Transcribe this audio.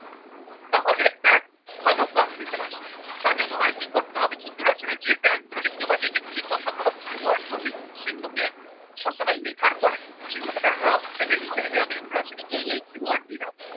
তাহলে একটা ভালো conclusion আসবে তার জন্য তোমায় কি করতে হবে introduction এর যে fact গুলো লিখেছে বা যে কথাগুলো বা three word গুলো লিখেছ সেগুলোকে সব সময় লেখার পরে সেগুলোকে একটা rough পেজে লিখে নেবে আমি introduction এ এই এই keyword দিলাম।